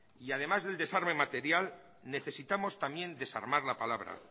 y además del desarme material necesitamos también desarmar la palabra